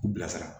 U bilasira